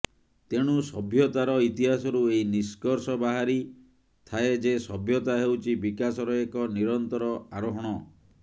ତେଣୁ ସଭ୍ୟତାର ଇତିହାସରୁ ଏହି ନିଷ୍କର୍ଷ ବାହାରି ଥାଏ ଯେ ସଭ୍ୟତା ହେଉଛି ବିକାଶର ଏକ ନିରନ୍ତର ଆରୋହଣ